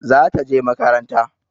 Za ta je makaranta.